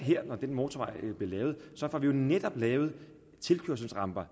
når den motorvej bliver lavet netop lavet tilkørselsramper